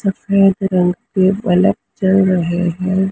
सफेद रंग के बल्ब जल रहे हैं।